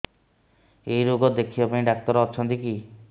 ଏଇ ରୋଗ ଦେଖିବା ପାଇଁ ଡ଼ାକ୍ତର ଅଛନ୍ତି କି